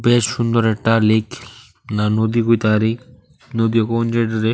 এ সুন্দর একটা লেক না নদী কইতা পারি নদী কহন যায় এইটারে।